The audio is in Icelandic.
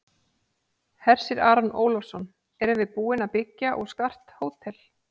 Hersir Aron Ólafsson: Erum við búin að byggja og skart hótel?